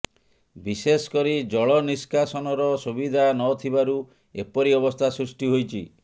ବିଶେଷ କରି ଜଳ ନିଷ୍କାସନର ସୁବିଧା ନ ଥିବାରୁ ଏପରି ଅବସ୍ଥା ସୃଷ୍ଟି ହୋଇଛି